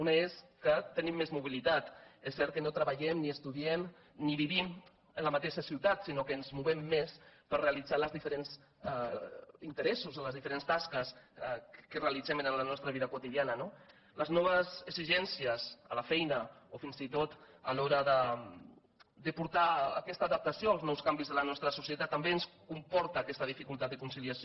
un és que tenim més mobilitat és cert que no treballem ni estudiem ni vivim en la mateixa ciutat sinó que ens movem més per realitzar els diferents interessos o les diferents tasques que realitzem en la nostra vida quotidiana no les noves exigències a la feina o fins i tot a l’hora de portar aquesta adaptació als nous canvis de la nostra societat també ens comporten aquesta dificultat de conciliació